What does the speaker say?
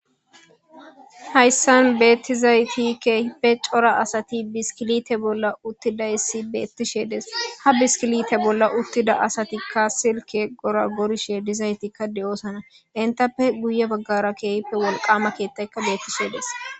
hayssan beettizaytikepe cora asati biskilite bolla uttidayssi beettishe des ha biskilite bolla uttida asatikka silke gora gorishe dizaytikka de7oosana intappe guye baggara keehippe wolqama keettaykka beettishedes